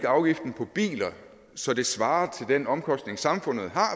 afgiften på biler så det svarer til den omkostning samfundet har